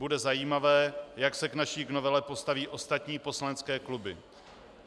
Bude zajímavé, jak se k naší novele postaví ostatní poslanecké kluby.